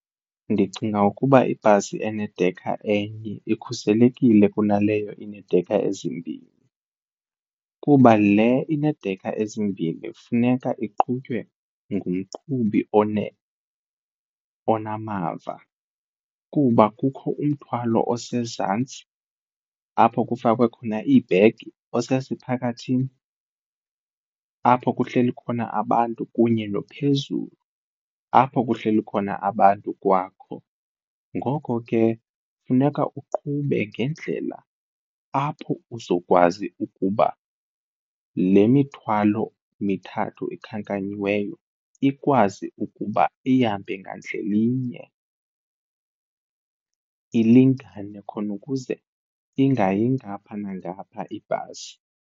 Ndicinga ukuba ibhasi enedekha enye ikhuselekile kunaleyo ineedekha ezimbini, kuba le ineedekha ezimbini kufuneka iqhutywe ngumqhubi onamava kuba kukho umthwalo osezantsi apho kufakwe khona iibhegi, osesiphakathini apho kuhleli khona abantu kunye nophezulu apho kuhleli khona abantu kwakho. Ngoko ke funeka uqhube ngendlela apho uzokwazi ukuba le mithwalo mithathu ikhankanyiweyo ikwazi ukuba ihambe ngandlela inye ilingane khona ukuze ingayi ngapha nangapha ibhasi.